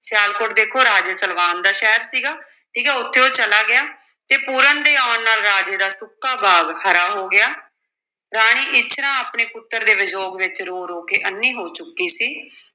ਸਿਆਲਕੋਟ ਦੇਖੋ ਰਾਜੇ ਸਲਵਾਨ ਦਾ ਸ਼ਹਿਰ ਸੀਗਾ, ਠੀਕ ਹੈ ਉੱਥੇ ਉਹ ਚਲਾ ਗਿਆ, ਤੇ ਪੂਰਨ ਦੇ ਆਉਣ ਨਾਲ ਰਾਜੇ ਦਾ ਸੁੱਕਾ ਬਾਗ ਹਰਾ ਹੋ ਗਿਆ, ਰਾਣੀ ਇੱਛਰਾਂ ਆਪਣੇ ਪੁੱਤਰ ਦੇ ਵਿਯੋਗ ਵਿੱਚ ਰੋ-ਰੋ ਕੇ ਅੰਨ੍ਹੀ ਹੋ ਚੁੱਕੀ ਸੀ।